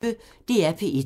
DR P1